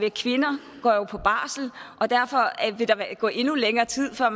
at kvinder går på barsel og derfor vil der gå endnu længere tid før